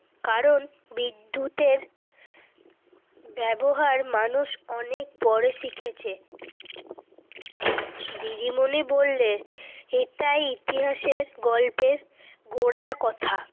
কারণ বিদ্যুতের ব্যবহার মানুষ অনেক পরে শিখেছে। দিদিমণি বললে এটা ইতিহাসের গল্পের গোড়ার কথা।